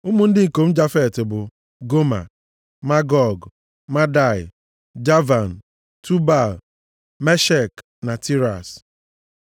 Ụmụ ndị ikom Jafet bụ: Goma, Magog, Madai, Javan, Tubal, Meshek na Tiras.